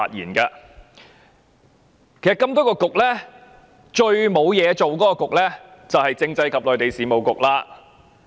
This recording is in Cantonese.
其實多個政策局中，最無所事事的便是政制及內地事務局。